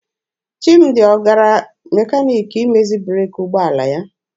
Chimdi ọ gara mekaniki imezi breeki ụgbọala ya?